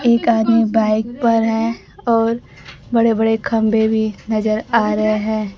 एक आदमी बाइक पर हैं और बड़े बड़े खंभे भी नजर आ रहे हैं।